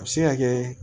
A bɛ se ka kɛ